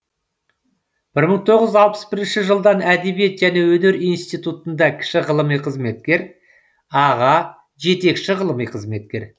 бір мың тоғыз жүз алпыс бірінші жылдан әдебиет және өнер институтында кіші ғылыми қызметкер аға жетекші ғылыми қызметкер